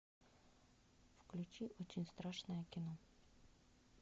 включи очень страшное кино